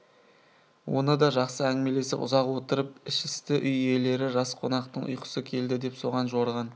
оны да жақсы әңгімелесіп ұзақ отырып ішісті үй иелері жас қонақтың ұйқысы келді деп соған жорыған